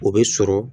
O bɛ sɔrɔ